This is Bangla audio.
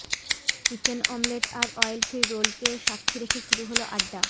চিকেন অমলেট আর অয়েল ফ্রি রোলকে সাক্ষী রেখে শুরু হল আড্ডা